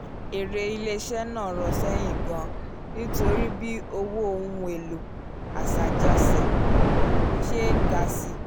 èrè ilé-iṣẹ́ náà rọ̀ sẹ́yìn gan-an nítorí bí owó ohun èlò aṣàjánṣe ṣe ń ga síi